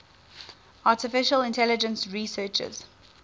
artificial intelligence researchers